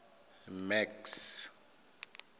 max